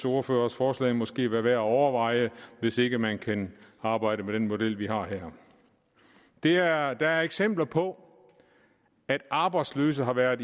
ordførers forslag måske også være værd at overveje hvis ikke man kan arbejde på den model vi har her der er eksempler på at arbejdsløse har været